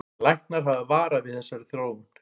Læknar hafa varað við þessari þróun